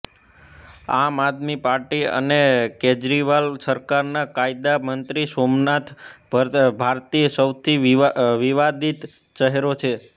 આમ આદમી પાર્ટી અને કેરજરીવાલ સરકારના કાયદા મંત્રી સોમનાથ ભારતી સૌથી વિવાદિત ચહેરો છે